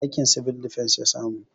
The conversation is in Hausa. Aikin 'Civil Defence' ya samu